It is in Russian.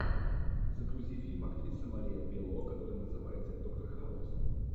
загрузи фильм актриса мария белло который называется доктор хаус